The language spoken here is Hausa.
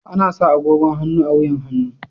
Ana sa agogon hannu a wuyan hannu.